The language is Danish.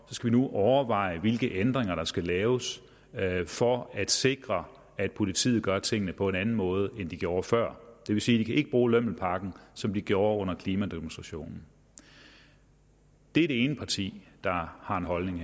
nu overveje hvilke ændringer der skal laves laves for at sikre at politiet kan gøre tingene på en anden måde end de har gjort før og det vil sige at de ikke kan bruge lømmelpakken som de har gjort under klimademonstrationerne det er det ene parti der har en holdning